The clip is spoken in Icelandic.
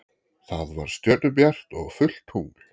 Það var stjörnubjart og fullt tungl.